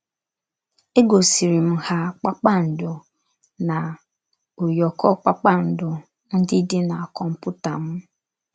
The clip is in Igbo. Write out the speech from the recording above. Égosirim ha kpakpando na ụyọkọ kpakpando ndị dị na kọmputa m.